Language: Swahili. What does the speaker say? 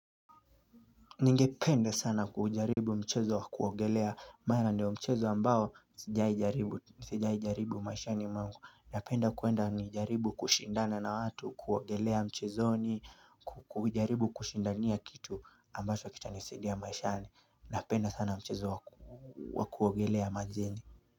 Ningependa sana kuujaribu mchezo wa kuogelea mara ndio mchezo ambao sijai jaribu maishani mwangu Napenda kuenda ni jaribu kushindana na watu kuogelea mchezoni kujaribu kushindania kitu ambacho wa kitanisadia maishani Napenda sana mchezo wa kuogelea majini.